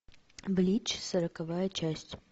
блич сороковая часть